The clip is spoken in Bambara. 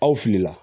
Aw fili la